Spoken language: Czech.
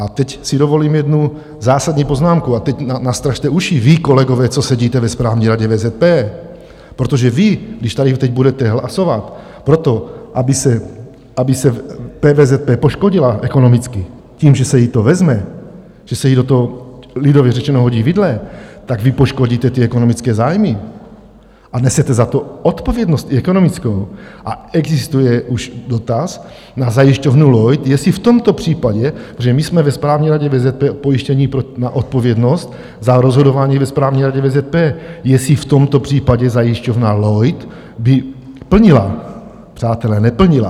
A teď si dovolím jednu zásadní poznámku, a teď nastražte uši vy, kolegové, co sedíte ve správní radě VZP, protože vy, když tady teď budete hlasovat pro to, aby se PVZP poškodila ekonomicky tím, že se jí to vezme, že se jí do toho lidově řečeno hodí vidle, tak vy poškodíte ty ekonomické zájmy a nesete za to odpovědnost i ekonomickou, a existuje už dotaz na zajišťovnu Lloyd, jestli v tomto případě, protože my jsme ve správní radě VZP pojištění na odpovědnost za rozhodování ve správní radě VZP, jestli v tomto případě zajišťovna Lloyd by plnila - přátelé, neplnila!